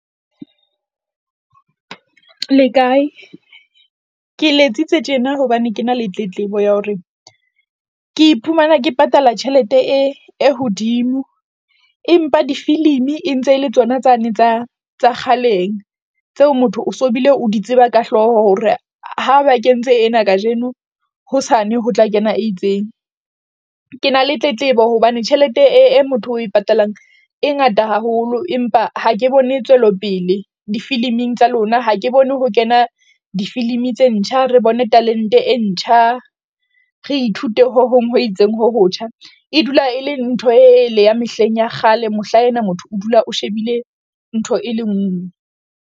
Le kae? ke letsitse tjena hobane ke na le tletlebo ya hore ke iphumana ke patala tjhelete e hodimo empa difilimi e ntse le tsona tsane tsa tsa kgaleng tseo motho o so bile o di tseba ka hlooho. Hore ha ba kentse ena kajeno. Hosane ho tla kena e itseng. Ke na le tletlebo hobane tjhelete e motho o e patalang e ngata haholo. Empa ha ke bone tswelopele difiliming tsa lona, ha ke bone ho kena difilimi tse ntjha, re bone talent-e e ntjha re ithute ho hong ho itseng ho hotjha, e dula e leng ntho e le ya mehleng ya kgale. Mohlaena motho o dula o shebile ntho e le nngwe.